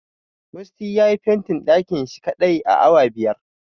Musty yayi fentin ɗakin shi kaɗai a awa biyar.